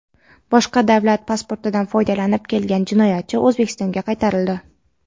boshqa davlat pasportidan foydalanib kelgan jinoyatchi O‘zbekistonga qaytarildi.